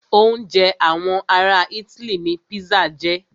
Oúnjẹ àwọn ará itály ní pizza jẹ́.